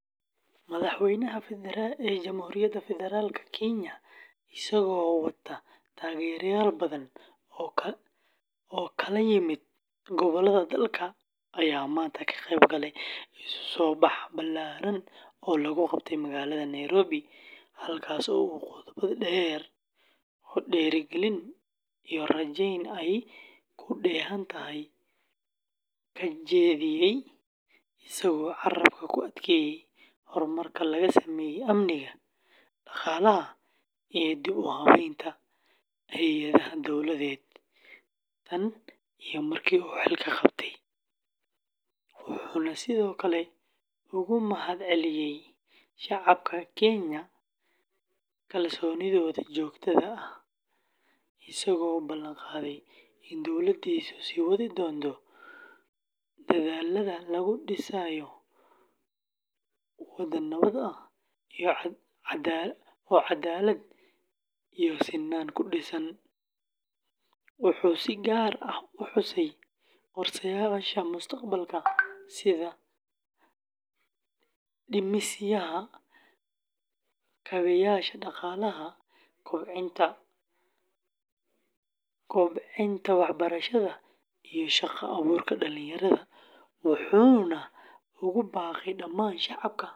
Madaxweynaha Jamhuuriyadda Federaalka Kenya, isagoo wata taageerayaal badan oo ka kala yimid gobollada dalka, ayaa maanta ka qeyb galay isu-soo-bax ballaaran oo lagu qabtay magaalada Nairobi, halkaas oo uu khudbad dheer oo dhiirrigelin iyo rajayn ay ku dheehan tahay ka jeediyey, isagoo carrabka ku adkeeyey horumarka laga sameeyey amniga, dhaqaalaha, iyo dib-u-habaynta hay’adaha dowladeed tan iyo markii uu xilka qabtay, wuxuuna sidoo kale uga mahadceliyey shacabka Kenya kalsoonidooda joogtada ah, isagoo ballan qaaday in dowladdiisu sii wadi doonto dadaallada lagu dhisayo waddan nabad ah oo cadaalad iyo sinnaan ku dhisan, wuxuu si gaar ah u xusay qorsheyaasha mustaqbalka sida dhismaha kaabeyaasha dhaqaalaha, kobcinta waxbarashada, iyo shaqo abuurka dhalinyarada, wuxuuna ugu baaqay dhammaan shacabka.